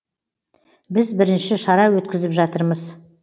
біз бірінші шара өткізіп жатырмыз